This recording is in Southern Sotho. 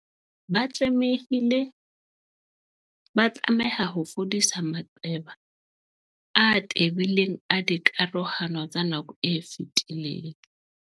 Ba tlameha ho fodisa maqeba a tebileng a dikarohano tsa nako e fetileng.